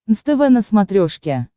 нств на смотрешке